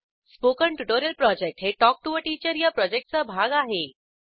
spoken tutorial project हे talk to teacher या प्रॉजेक्टचा भाग आहे